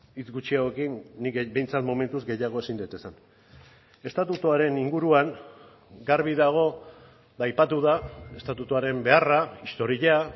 hitz gutxiagokin nik behintzat momentuz gehiago ezin dut esan estatutuaren inguruan garbi dago eta aipatu da estatutuaren beharra historia